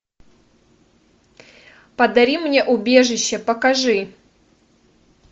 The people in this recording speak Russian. подари мне убежище покажи